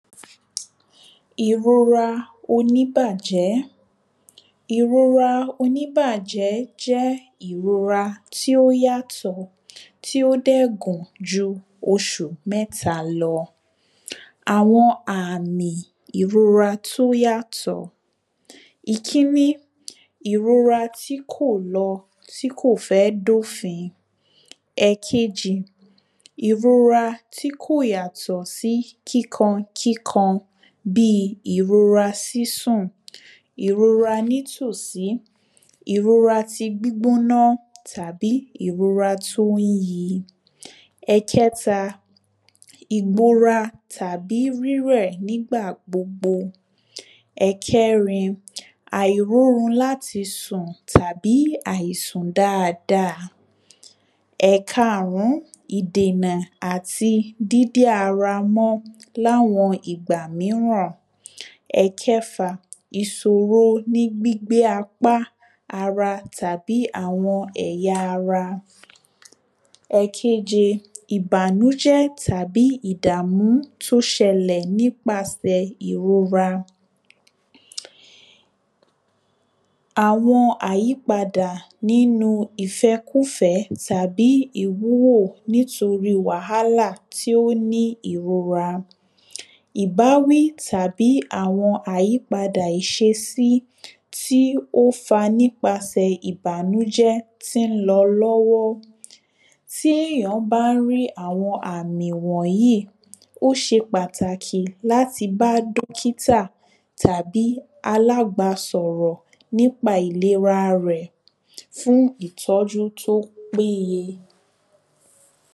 Ìrora oníbájẹ́, Ìrora oníbájẹ́ jẹ́ ìrora tí ó yàtọ̀ tí ó dẹ̀ gùn ju oṣù mẹ́ta lọ, àwọn àmì ìrora tó yàtọ̀. ìkíní, ìrora tí kò lọ, tí kò fẹ́ dófin. Ẹ̀kejí, ìrora tí kò yàtọ̀ sí kíkan kíkan bíi ìrora sísun, ìrora onítòsí, ìrora ti gbígbóná tàbí ìrora tó ń yí Ẹ̀kẹta ìgbora tàbí rírẹ̀ nígbà gbogbo, ẹ̀kerin àìrórun láti sùn tàbí àìsùn dáada. Ẹ̀kaàrún, ìdènà àti dídé ara mọ́ l’áwọn ìgbà míràn. Ẹ̀kẹfa, ìṣòro ní gbígbé apá, ara tàbí àwọn ẹ̀yà ara. Ẹ̀keje, ìbànújẹ́ tàbí ìdàmú tó ṣẹlẹ̀ nípasẹ̀ ìrora. Àwọn àyípadà nínu ìfẹ́kúfẹ̀ẹ́ tàbí ìwúrò nítorí wàhálà tí ó ní ìrora, ìbáwí tàbí àwọn àyípadà ìṣesí tí ó fa nípasẹ̀ ìbànújẹ́ tí ń lọ lọ́wọ́, tí èyàn bá ń rí àwọn àmì wọ̀nyí, ó ṣe pàtàkì láti bá dókítà, tàbí alábàásọ̀rọ̀ nípa ìlera rẹ̀ fún ìtọ́jú tó péye